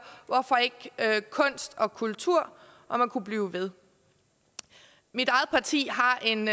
hvorfor ikke kunst og kultur og man kunne blive ved mit eget parti har en